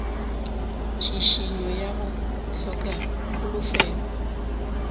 tšhišinyo ya go hloka kholofelo